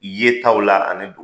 Ye taw la ani don